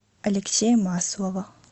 алексея маслова